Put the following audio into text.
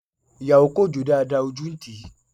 Ìyàwó kò jó dáadáa, ojú ń tíì.